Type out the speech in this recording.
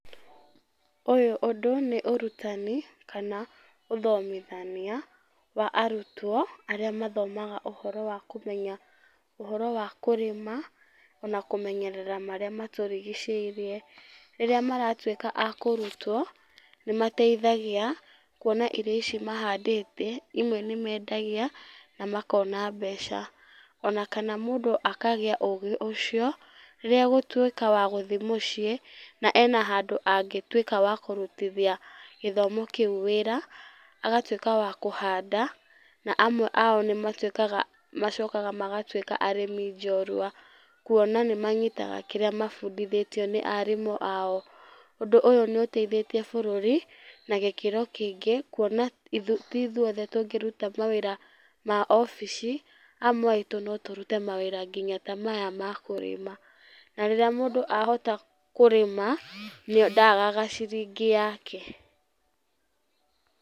Ũyũ ũndũ nĩ ũrutani, kana, ũthomithania, wa arutwo arĩa mathomaga ũhoro wa kũmenya, ũhoro wa kũrĩma, ona kũmenyerera marĩa matũrigicĩirie. Rĩrĩa maratuĩka akũrutwo nĩmateithagia, kuona irio ici mahandĩte imwe nĩmendagia, na makona mbeca. Ona kana mũndũ akagĩa ũgĩ ũcio, rĩrĩa egũtuĩka wa gũthiĩ mũciĩ ena handũ angĩtuĩka wa kũrutithia gĩthomo kĩu wĩra, agatuĩka wa kũhanda na amwe ao nĩmatuĩkaga, macokaga magatuĩka arĩmi njorua kuona nĩmanyitaga kĩrĩa mabundithĩtio nĩ arimũ ao. Ũndũ ũyũ nĩũteithĩtie bũrũri na gĩkĩro kĩingĩ kuona ti ithuothe tũngĩruta mawĩra ma obici, amwe aitũ no tũrute mawĩra nginya ta maya ma kũrĩma. Na rĩrĩa mũndũ ahota kũrĩma, ndagaga ciringi yake.